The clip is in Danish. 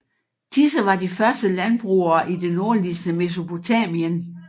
Disse var de første landbrugere i det nordligste Mesopotamien